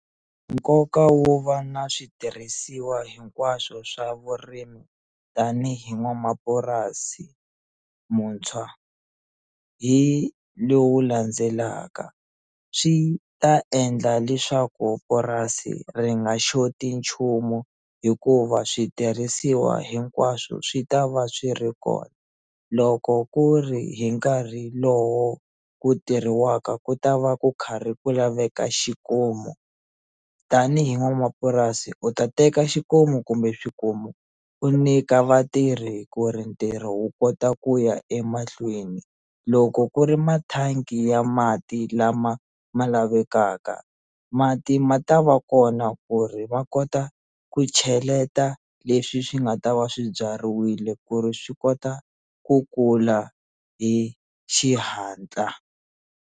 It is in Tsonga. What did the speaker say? Nkoka wo va na switirhisiwa hinkwaswo swa vurimi tanihi n'wanamapurasi muntshwa hi lowu landzelaka swi ta endla leswaku purasi ri nga xoti hi nchumu hikuva switirhisiwa hinkwaswo swi ta va swi ri kona loko ku ri hi nkarhi lowo ku tirhiwaka ku ta va ku karhi ku laveka xikomu tanihi n'wanamapurasi u ta teka xikomu kumbe swikomu u nyika vatirhi ku ri ntirho wu kota ku ya emahlweni loko ku ri mathangi ya mati lama ma lavekaka mati ma ta va kona ku ri va kota ku cheleta leswi swi nga ta va swi byariwile ku ri swi kota ku kula hi xihatla.